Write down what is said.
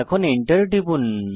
এখন এন্টার টিপুন